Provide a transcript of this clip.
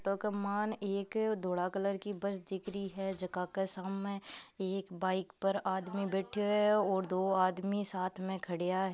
ट क मान एक अ धोला कलर की बस दिख रई है जका के सामे एक बाइक पर आदमी बेठ्यो है और दो आदमी साथ में खड्या है।